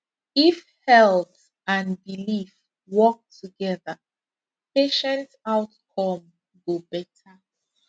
if health and belief work together patient outcome go better